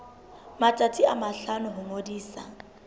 matsatsi a mahlano ho ngodisa